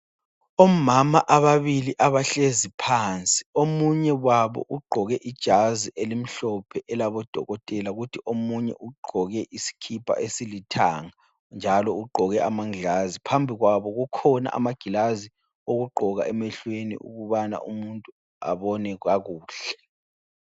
Omama ababili abahlezi phansi, omunye wabo ugqoke ijazi elimhlophe elabo dokotela kuthi omunye ugqoke isikipa esilithanga njalo ugqoke amaglazi. Phambi kwabo kukhona amaglazi okugqoka emehlweni ukuthi umuntu abone kakuhle.